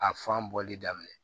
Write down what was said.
A fan bɔli daminɛ